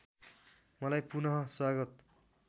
मलाई पुनःस्वागत